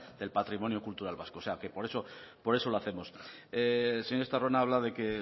del patrimonio cultural vasco o sea que por eso lo hacemos el señor estarrona habla de que